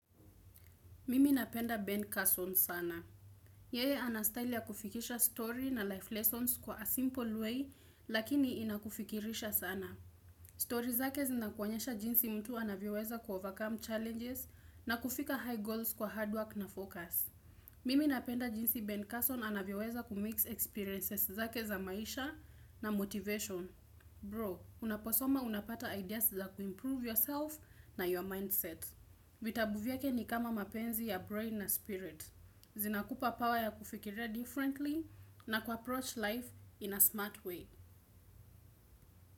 Mimi napenda Ben Carson sana. Yeye anastyle ya kufikisha story na life lessons kwa a simple way, lakini inakufikirisha sana. Story zake zinakuonyesha jinsi mtu anavyoweza ku overcome challenges na kufika high goals kwa hard work na focus. Mimi napenda jinsi Ben Carson anavyoweza kumix experiences zake za maisha na motivation. Bro, unaposoma unapata ideas za kuimprove yourself na your mindset. Vitabu vyake ni kama mapenzi ya brain na spirit. Zinakupa power ya kufikiria differently na kuapproach life in a smart way.